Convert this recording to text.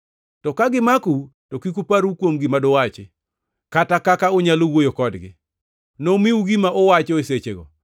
To ka gimakou to kik uparru kuom gima duwachi, kata kaka unyalo wuoyo kodgi. Nomiu gima uwacho e sechego,